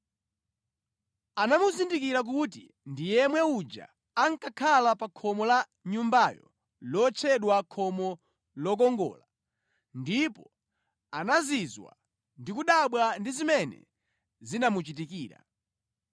anamuzindikira kuti ndi yemwe uja ankakhala pa khomo la Nyumbayo lotchedwa Khomo Lokongola, ndipo anazizwa ndi kudabwa ndi zimene zinamuchitikira.